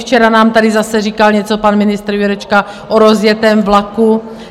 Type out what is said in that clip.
Včera nám tady zase říkal něco pan ministr Jurečka o rozjetém vlaku.